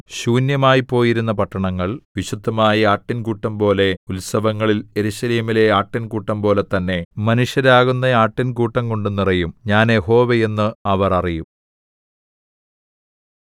ശൂന്യമായിപ്പോയിരുന്ന പട്ടണങ്ങൾ വിശുദ്ധമായ ആട്ടിൻകൂട്ടംപോലെ ഉത്സവങ്ങളിൽ യെരൂശലേമിലെ ആട്ടിൻകൂട്ടംപോലെ തന്നെ മനുഷ്യരാകുന്ന ആട്ടിൻകൂട്ടം കൊണ്ട് നിറയും ഞാൻ യഹോവ എന്ന് അവർ അറിയും